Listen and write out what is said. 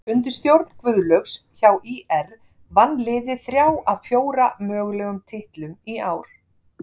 Undir stjórn Guðlaugs hjá ÍR vann liðið þrjá af fjóra mögulegum titlum í ár.